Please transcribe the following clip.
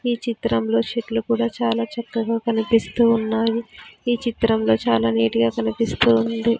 ఈ చిత్రంలో చెట్లు కూడా చాలా చక్కగా కనిపిస్తూ ఉన్నాయి ఈ చిత్రంలో చాలా నీట్ గా కనిపిస్తూ ఉంది.